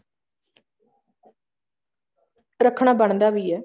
ਰੱਖਣਾ ਬਣਦਾ ਵੀ ਹੈ